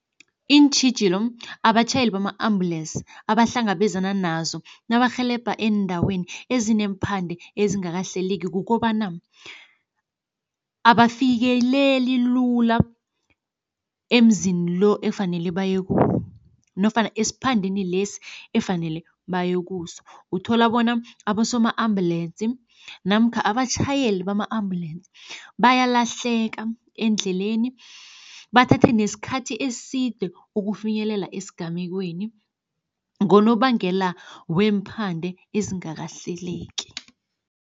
Iintjhijilo abatjhayeli bama-ambulensi abahlangabezana nazo nabarhelebha eendaweni ezineephande ezingakahlaleki kukobana, abafikeleli lula emzini lo efanele baye kuwo nofana esiphandeni lesi efanele baye kuso. Uthola bona abosoma-ambulensi namkha abatjhayeli bama-ambulensi bayalahleka endleleni, bathathe nesikhathi eside ukufinyelela esigamekweni ngonobangela weemphande ezingakahleleki.